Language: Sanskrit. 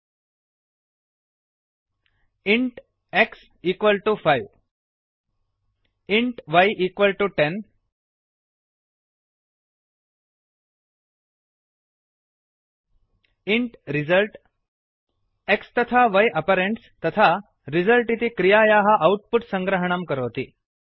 इण्ट् इन्ट् x 5 एक्स् समं पञ्च इण्ट् इन्ट् y 10 वै समं दश इण्ट्int रिजल्ट् रिसल्ट् x तथा y आपरेण्ड्स् तथा रिजल्ट् इति क्रियायाः औट्पुट् सङ्ग्रहं करोति